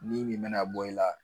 Ni min me na bɔ i la